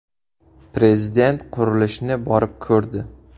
Prezident qurilishni borib ko‘rdi .